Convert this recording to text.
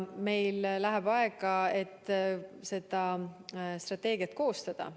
Meil läheb aega, et seda strateegiat koostada.